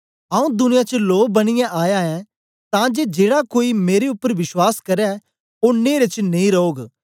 आऊँ दुनिया च लों बनियै आया ऐं तां जे जेड़ा कोई मेरे उपर बश्वास करै ओ नेरे च नेई रौग